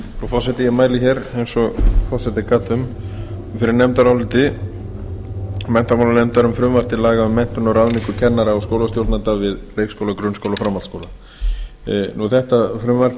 forseti ég mæli hér eins og forseti gat um fyrir nefndaráliti menntamálanefndar um frumvarp til laga um menntun og ráðningu kennara og skólastjórnenda við leikskóla grunnskóla og framhaldsskóla þetta frumvarp er eitt